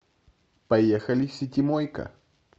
поехали ситимойка